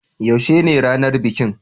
Yaushe ne ranar bikin?